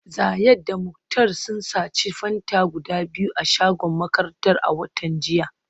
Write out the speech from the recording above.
Zayad da Muktar sun sace Fanta guda biyu a shagon makarantar a watan jiya